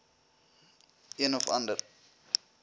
een of ander